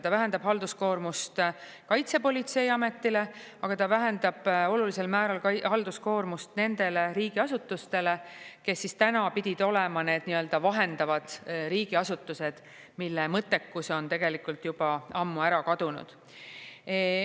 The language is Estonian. Ta vähendab halduskoormust Kaitsepolitseiametile, aga ta vähendab olulisel määral ka halduskoormust nendele riigiasutustele, kes täna pidid olema need nii-öelda vahendavad riigiasutused, mille mõttekus on tegelikult juba ammu ära kadunud.